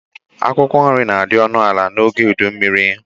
Akwụkwọ nri na-adị ọnụ ala n'oge udummiri